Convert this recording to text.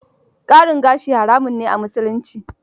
Ƙarin gashi haramun ne a Musulunci